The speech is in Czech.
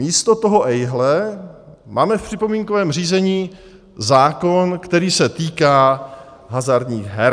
Místo toho ejhle, máme v připomínkovém řízení zákon, který se týká hazardních her.